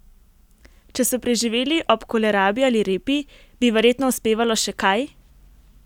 Če so preživeli ob kolerabi ali repi, bi verjetno uspevalo še kaj?